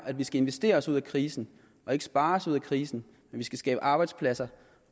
at vi skal investere os ud af krisen og ikke spare os ud af krisen at vi skal skabe arbejdspladser